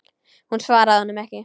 Hún svaraði honum ekki.